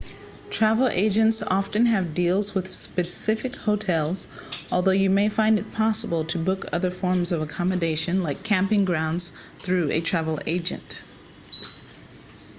travel agents often have deals with specific hotels although you may find it possible to book other forms of accommodation like camping grounds through a travel agent